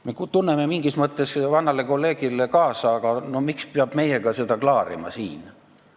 Me tunneme vanale kolleegile mingis mõttes kaasa, aga miks peab seda siin meiega klaarima?